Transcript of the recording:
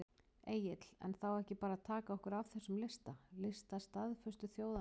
Egill: En á þá ekki bara að taka okkur af þessum lista, lista staðföstu þjóðanna?